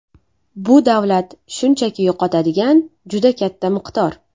Bu davlat shunchaki yo‘qotadigan juda katta miqdor.